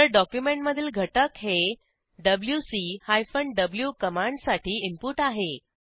हेरे document मधील घटक हे डब्ल्यूसी हायफन व्ही कमांडसाठी इनपुट आहे